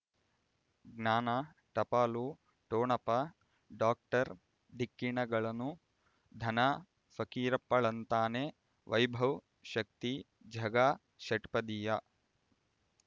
ಜ್ಞಾನ ಟಪಾಲು ಠೊಣಪ ಡಾಕ್ಟರ್ ಢಿಕ್ಕಿ ಣಗಳನು ಧನ ಫಕೀರಪ್ಪ ಳಂತಾನೆ ವೈಭವ್ ಶಕ್ತಿ ಝಗಾ ಷಟ್ಪದಿಯ